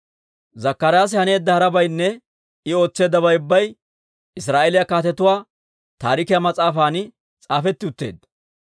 Zakkaraasi haneedda harabaynne I ootseeddabay ubbay Israa'eeliyaa Kaatetuwaa Taarikiyaa mas'aafan s'aafetti utteedda.